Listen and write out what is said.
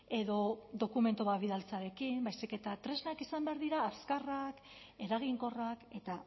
edo dokumentu bat bidaltzearekin baizik eta tresnak izan behar dira azkarrak eraginkorrak eta